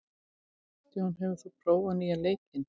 John, hefur þú prófað nýja leikinn?